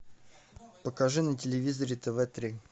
покажи на телевизоре тв три